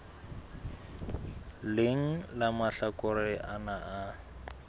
leng la mahlakore ana a